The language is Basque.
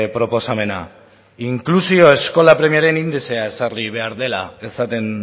proposamena inklusio eskola premiaren indizea ezarri behar dela esaten